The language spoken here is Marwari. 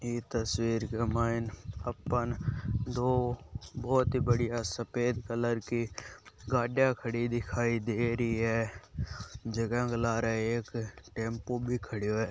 ई तस्वीर के मायन आपाने दो बहुत ही बढ़िया सफ़ेद कलर की गाड़िया खड़ी दिखाई दे रही है जका के लारे एक टेम्पू भी खड़यो है।